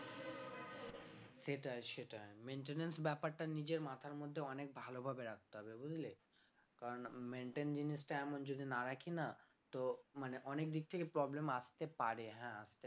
সেটাই সেটাই maintenance ব্যাপারটা নিজের মাথার মধ্যে অনেক ভালোভাবে রাখতে হবে বুঝলি কারণ maintain জিনিসটা এমন যদি না রাখি না তো মানে অনেক দিক থেকে problem আসতে পারে হ্যাঁ আসতে পারে